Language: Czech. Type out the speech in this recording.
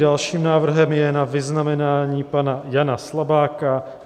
Dalším návrhem je na vyznamenání pana Jana Slabáka